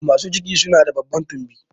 Masu ciki su na da babban tumbi